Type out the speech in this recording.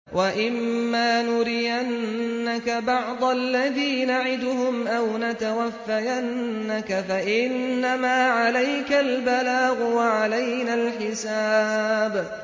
وَإِن مَّا نُرِيَنَّكَ بَعْضَ الَّذِي نَعِدُهُمْ أَوْ نَتَوَفَّيَنَّكَ فَإِنَّمَا عَلَيْكَ الْبَلَاغُ وَعَلَيْنَا الْحِسَابُ